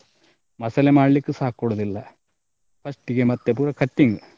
ಮಸಾಲೆ ಮಾಡ್ಲಿಕ್ಕೂಸ ಕೊಡುದಿಲ್ಲ first ಗೆ ಮತ್ತೆ ಪುನಾ cutting .